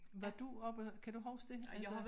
Var du oppe kan du huske det altså